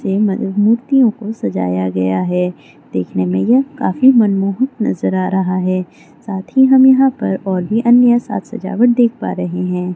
मूर्तियों को सजाया गया है देखने में यह काफी मनमोहक नजर आ रहा है सात ही हम यहाँ पर अन्य साज-सजावट देख पा रहे हैं।